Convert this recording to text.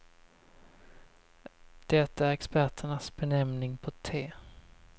Det är experternas benämning på te.